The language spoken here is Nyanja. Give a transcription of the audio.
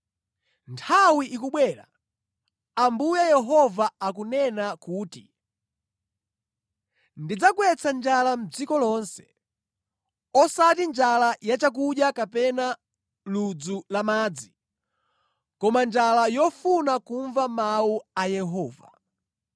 “Nthawi ikubwera,” Ambuye Yehova akunena kuti, “Ndidzagwetsa njala mʼdziko lonse; osati njala ya chakudya kapena ludzu la madzi, koma njala yofuna kumva mawu a Yehova.